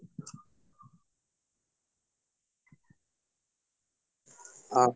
অ